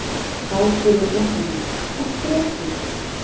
Þá spurði fréttamaður: Af hverju ekki?